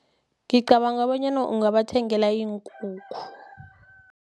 Ngicabanga kobanyana ungabathengela iinkukhu.